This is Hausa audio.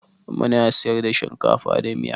Muna siyar da shinkafa da miya.